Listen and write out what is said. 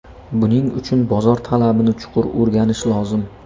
Buning uchun bozor talabini chuqur o‘rganish lozim.